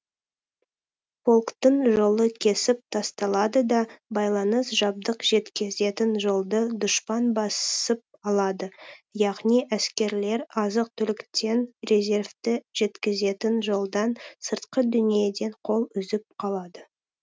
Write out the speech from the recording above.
полктың жолы кесіп тасталады да байланыс жабдық жеткізетін жолды дұшпан басып алады яғни әскерлер азық түліктен резервті жеткізетін жолдан сыртқы дүниеден қол үзіп қалады